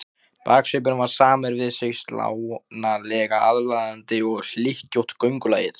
Baksvipurinn var samur við sig, slánalega aðlaðandi, og hlykkjótt göngulagið.